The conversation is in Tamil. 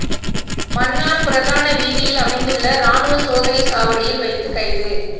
மன்னார் பிரதான வீதியில் அமைந்துள்ள இராணுவ சோதனை சாவடியில் வைத்து கைது